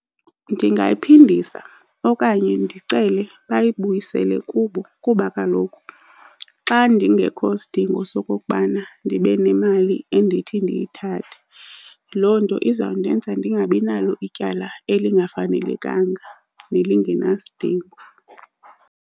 Ndingayiphindisa okanye ndicele bayibuyisele kubo kuba kaloku xa ndingekho sidingo sokokubana ndibe nemali endithi ndiyithathe, loo nto iza kundenza ndingabi nalo ityala elingafanelekanga nelingenasidingo.